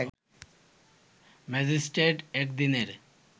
magistrate এক দিনের